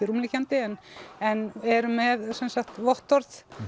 rúmliggjandi en en eru með áverkavottorð